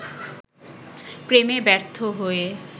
প্রেমে ব্যর্থ হয়ে